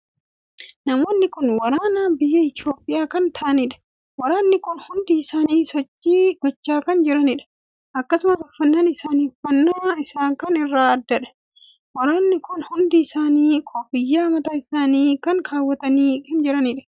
Namoonni kun waraana biyya Itoophiyaa kan taa'anidha. waraanni kun hundi isaanii sochii gochaa kan jiraniidha. akkasumas uffannaan isaa uffannaa Isa kaan irraa addaadha. waraanni kun hundi isaanii kofiyyaa mataa isaanii irra kaawwatanii kan jiraniidha.